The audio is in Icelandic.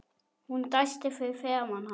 Hún dæsti fyrir framan hann.